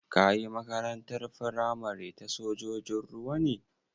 Ka yi Makarantar firamare ta sojojin ruwa ne?